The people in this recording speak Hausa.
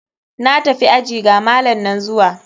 Na tafi aji, ga malam nan zuwa.